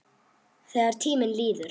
Þegar tíminn líður